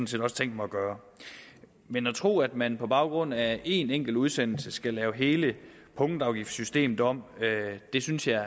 set også tænkt mig at gøre men at tro at man på baggrund af en enkelt udsendelse skal lave hele punktafgiftssystemet om synes jeg